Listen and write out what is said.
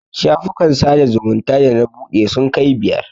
Shafukan sada zumunta da na buɗe sun kai biyar.